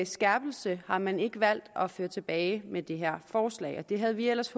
skærpelse har man ikke valgt at føre tilbage med det her forslag og det havde vi ellers